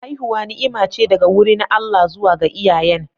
Haihuwa ni'ima ce daga wurin Allah zuwa ga iyayen.